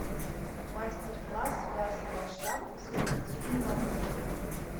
мастер класс вязаная шапка со спортивной макушкой